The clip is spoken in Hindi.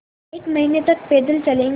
एक महीने तक पैदल चलेंगे